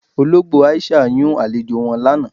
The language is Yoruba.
Ọlọgbo Aisha yún alẹ̀jọ wọn lána.